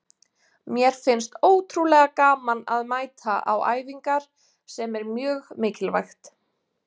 Mér finnst ótrúlega gaman að mæta á æfingar, sem er mjög mikilvægt.